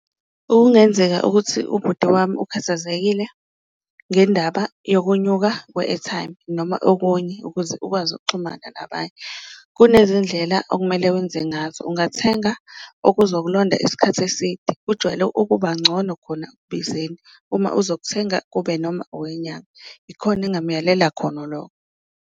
Okungenzeka ukuthi ubuthi wami ukhathazekile ngendaba yokunyuka kwe-airtime noma okunye ukuze ukwazi ukuxhumana nabanye, kunezindlela okumele enze ngazo, ungathenga okuzokulonda isikhathi eside. Kujwayele ukuba ngcono khona ekubizeni uma uzothenga kube noma owenyanga, ikhona engamuyalela khona lokho.